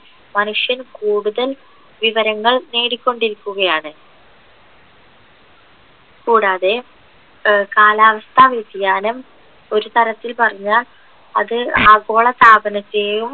മനുഷ്യൻ കൂടുതൽ വിവരങ്ങൾ നേടിക്കൊണ്ടിയിരിക്കുകയാണ് കൂടാതെ ഏർ കാലാവസ്ഥ വ്യതിയാനം ഒരുതരത്തിൽ പറഞ്ഞാ അത് ആഗോളതാപനത്തെയും